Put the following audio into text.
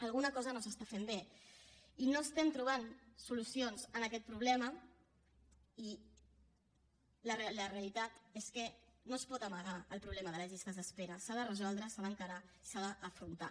alguna cosa no s’està fent bé i no estem trobant solucions a aquest problema i la realitat és que no es pot amagar el problema de les llistes d’espera s’ha de resoldre s’ha d’encarar i s’ha d’afrontar